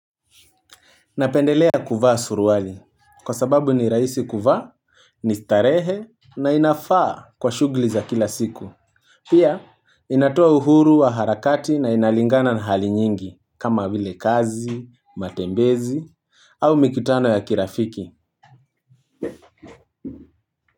Napendelea kuvaa suruali kwa sababu ni rahisi kuvaa, ni starehe na inafaa kwa shughuli za kila siku. Pia inatoa uhuru wa harakati na inalingana na hali nyingi kama vile kazi, matembezi au mikutano ya kirafiki.